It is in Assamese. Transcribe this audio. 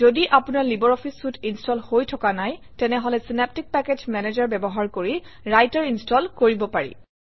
যদি আপোনাৰ লাইব্ৰঅফিছ চুইতে ইনষ্টল হৈ থকা নাই তেনেহলে চিনেপ্টিক পেকেজ মেনেজাৰ ব্যৱহাৰ কৰি ৰাইটাৰ ইনষ্টল কৰিব পাৰি